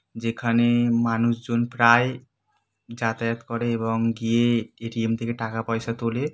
যেখানে-এ মানুষজন প্রায় যাতায়াত করে এবং গিয়ে এ.টি.এম. থেকে টাকা পয়সা তোলে।